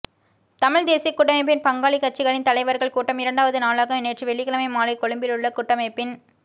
தமிழ்த் தேசியக் கூட்டமைப்பின் பங்காளிக் கட்சிகளின் தலைவர்கள் கூட்டம் இரண்டாவது நாளாக நேற்று வெள்ளிக்கிழமை மாலை கொழும்பிலுள்ள கூட்டமைப்பின்